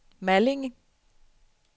Malling